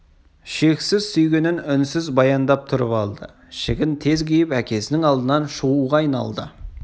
шексіз сүйгенін үнсіз баяндап тұрып алды ішігін тез киіп әкесінің алдынан шығуға айналды